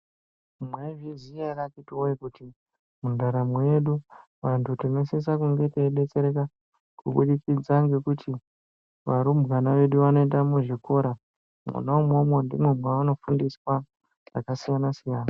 Mwaizviziya ere akhitiwee kuti mundaramo yedu, antu tinosisa kunge teidetsereka kubudikidza ngekuti varumbwana vedu vanoenda muzvikora ,mwona umwomwo ndimwo mweanofundiswa zvakasiyana-siyana.